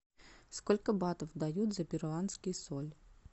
сколько батов дают за перуанский соль